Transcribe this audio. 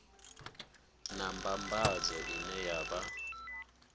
na mbambadzo ine ya vha